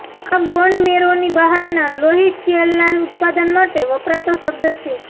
આ બોન મેરોની બહારના લોહી સેલના ઉત્પાદન માટે વપરાતો શબ્દ છે